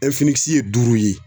ɛnfinikisi ye duuru ye